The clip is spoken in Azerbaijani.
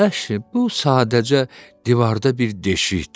Əşi, bu sadəcə divarda bir deşikdir.